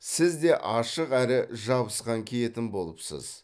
сіз де ашық әрі жабысқан киетін болыпсыз